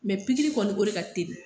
pikiri kɔni o de ka teli.